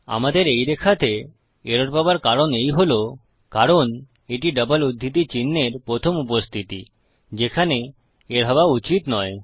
আমাদের এই রেখাতে এরর পাওযার কারণ এই হল কারণ এটি ডাবল উদ্ধৃতি চিন্হের প্রথম উপস্থিতি যেখানে এর হওয়া উচিত নয়